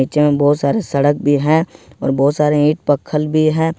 जहां बहुत सारे सड़क भी हैं और बहुत सारे ईट पक्खल भी है।